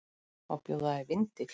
Má bjóða þér vindil?